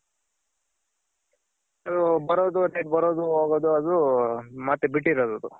ಬರೋದು ಬರೋದು ಹೋಗೋದು ಅದು ಮತ್ತೆ ಬಿಟ್ಟಿರೋದ್ ಅದು.